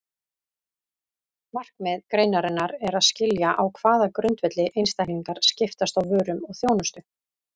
Markmið greinarinnar er að skilja á hvaða grundvelli einstaklingar skiptast á vörum og þjónustu.